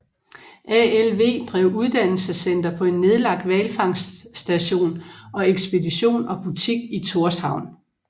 ALV drev uddannelsescenter på en nedlagt hvalfangststation og ekspedition og butik i Tórshavn